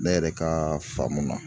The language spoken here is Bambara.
Ne yɛrɛ ka faamu na